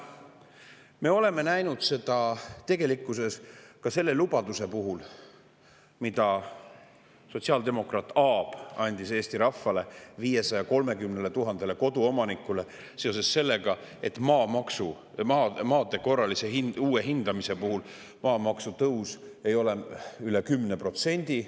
Me oleme näinud seda tegelikkuses ka selle lubaduse puhul, mida sotsiaaldemokraat Aab andis Eesti rahvale, 530 000 koduomanikule seoses sellega, et maade korralise uue hindamise puhul maamaksutõus ei ole üle 10%.